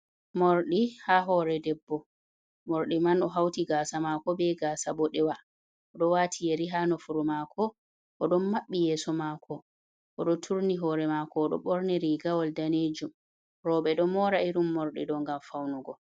Mordi ha hore debbo mordi man o hauti gasa mako be gasa boɗewa, oɗo wati yeri ha nofuru mako oɗon maɓɓi yesso mako oɗo turni hore mako oɗo ɓorni rigawal danejum roɓɓe ɗo mora irin morɗi ɗo ngam faunugo.